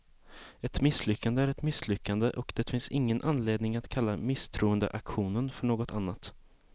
Ett misslyckande är ett misslyckande, och det finns ingen anledning att kalla misstroendeaktionen för något annat.